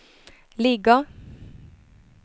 ligger